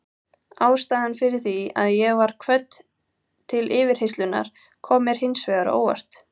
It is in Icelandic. Ástæðan fyrir því að ég var kvödd til yfirheyrslunnar kom mér hins vegar á óvart.